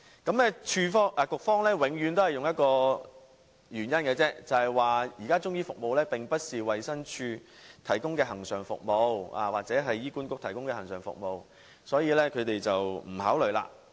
局方永遠以同一理由來解釋，說中醫服務現時並非衞生署或醫院管理局提供的恆常服務，所以不予考慮。